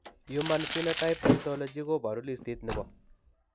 Human Phenotype Ontology koboru listit nebo